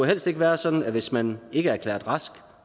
helst ikke være sådan at hvis man ikke er erklæret rask